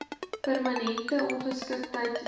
permanente ongeskiktheid dood